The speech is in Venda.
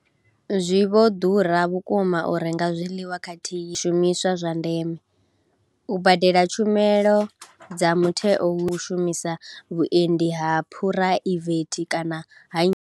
Zwi vho ḓura vhukuma u renga zwiḽiwa khathihi na zwiṅwe zwishumiswa zwa ndeme, u badela tshumelo dza mutheo hu u shumisa vhuendi ha phuraivethe kana ha nnyi.